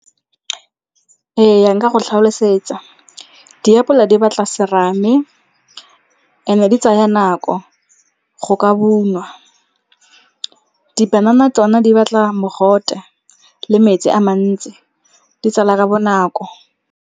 Ee, nka go tlhalosetsa. Diapola di batla serame and-e di tsaya nako go ka ungwa. Dipanana tsona di batla mogote le metsi a mantsi, di tsala ka bonako.